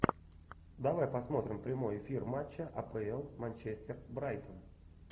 давай посмотрим прямой эфир матча апл манчестер брайтон